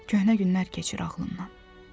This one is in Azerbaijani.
Köhnə günlər keçir ağlımdan.